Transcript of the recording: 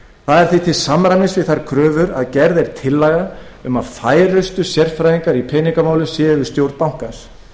það er því til samræmis við þær kröfur að gerð er tillaga um að færustu sérfræðingar í peningamálum séu við stjórn bankans